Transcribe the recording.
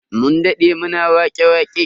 Mun dade muna wake-waƙe.